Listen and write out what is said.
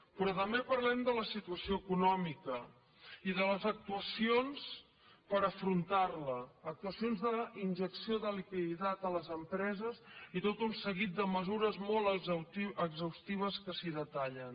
però també parlem de la situació econòmica i de les actuacions per afrontar la actuacions d’injecció de liquiditat a les empreses i tot un seguit de mesures molt exhaustives que s’hi detallen